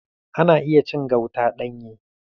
Ana iya cin gauta ɗanye.